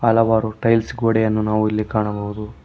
ಹಲವಾರು ಟೈಲ್ಸ್ ಗೋಡೆಯನ್ನು ನಾವು ಇಲ್ಲಿ ಕಾಣಬಹುದು.